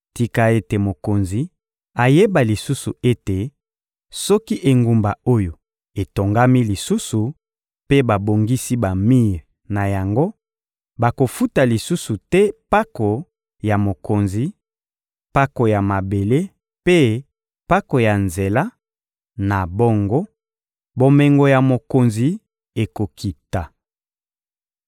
Tika ete mokonzi ayeba lisusu ete, soki engumba oyo etongami lisusu mpe babongisi bamir na yango, bakofuta lisusu te mpako ya mokonzi, mpako ya mabele mpe mpako ya nzela; na bongo, bomengo ya mokonzi ekokita.